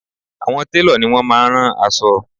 Àwọn télọ̀ ni wọ́n máá ń rán aṣọ